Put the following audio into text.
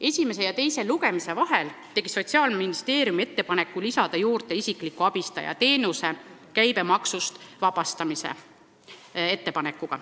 Esimese ja teise lugemise vahel tegi Sotsiaalministeerium ettepaneku lisada siia juurde isikliku abistaja teenuse käibemaksust vabastamine.